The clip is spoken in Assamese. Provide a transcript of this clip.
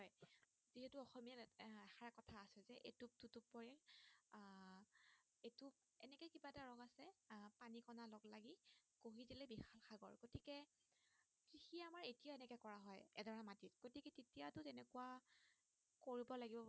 কোৱা কৰিব লাগিব মানে